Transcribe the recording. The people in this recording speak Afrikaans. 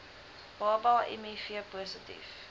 baba miv positief